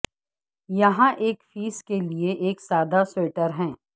یہاں ایک فیس کے لئے ایک سادہ سویٹر ہے